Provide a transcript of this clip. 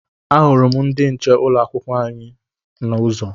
Ahụrụ m ndị nche ụlọ akwụkwọ anyị n'ụzọ.